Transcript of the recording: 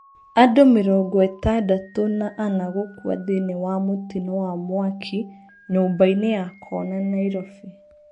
Andũmĩrongo ĩtandatũna ana gũkua thĩiniĩ wa mũtino wa mwaki nyũmbainĩ ya Kona, Nairobi.